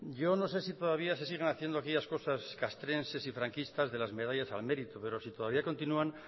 yo no sé si todavía se siguen haciendo aquellas cosas castrenses y franquistas de las medallas al mérito pero si todavía continúan